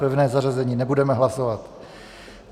Pevné zařazení nebudeme hlasovat.